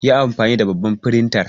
Yi anfani da babbar firintar.